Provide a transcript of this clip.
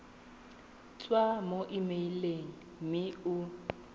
tswa mo emeileng mme o